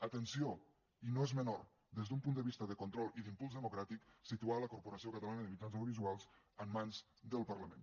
atenció i no és menor des d’un punt de vista de control i d’impuls democràtic situar la corporació catalana de mitjans audiovisuals en mans del parlament